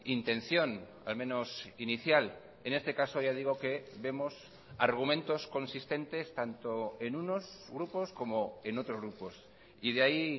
intención al menos inicial en este caso ya digo que vemos argumentos consistentes tanto en unos grupos como en otros grupos y de ahí